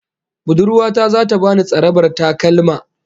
Budurwa ta zata bani tsarabar takalma